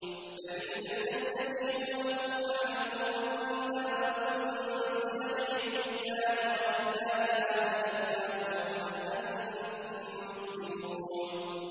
فَإِلَّمْ يَسْتَجِيبُوا لَكُمْ فَاعْلَمُوا أَنَّمَا أُنزِلَ بِعِلْمِ اللَّهِ وَأَن لَّا إِلَٰهَ إِلَّا هُوَ ۖ فَهَلْ أَنتُم مُّسْلِمُونَ